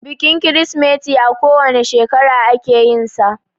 Bikin Kirsimeti a ko wane shekara ake yinsa